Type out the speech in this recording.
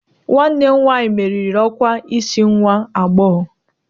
Nwanne m nwanyị meriri ọkwa isi nwa agbọghọ